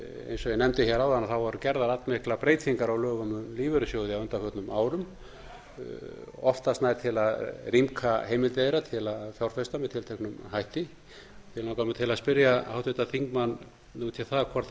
eins og ég nefndi áðan voru gerðar allmiklar breytingar á lögum um lífeyrissjóði á undanförnum árum oftast nær til að rýmka heimildir þeirra til að fjárfesta með tilteknum hætti því langar mig til að spyrja háttvirtan þingmann út í það hvort hann